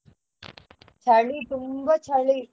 ಚಳಿ ತುಂಬಾ ಚಳಿ.